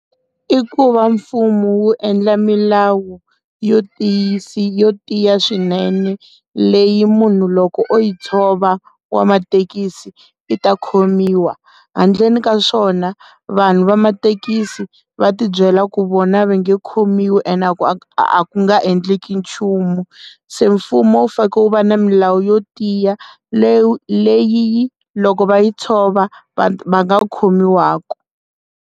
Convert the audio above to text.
I ku va mfumo wu endla milawu yo tiyisa yo tiya swinene leyi munhu loko o yi tshova wa mathekisi i ta khomiwa handleni ka swona vanhu va mathekisi va tibyela ku vona va nga khomiwi ene a ku nga endleki nchumu se mfumo wu fanekele u va na milawu yo tiya leyi leyi loko va yi tshova va va nga khomiwaku.